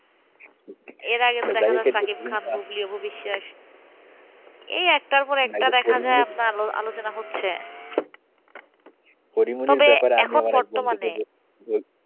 এর আগে দেখা যাচ্ছিল শাকিব খান ভবিষ্যৎ, এই একটার পর একটা দেখা যায় আপনার আলোচনা হচ্ছেতবে এখন বর্তমানে,